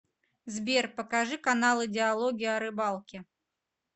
сбер покажи каналы диалоги о рыбалке